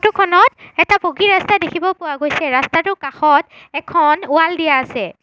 Photo খনত এটা পকী ৰাস্তা দেখিব পোৱা গৈছে ৰাস্তাটোৰ কাষত এখন ৱাল দিয়া আছে।